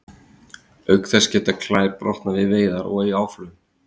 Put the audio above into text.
auk þess geta klær brotnað við veiðar og í áflogum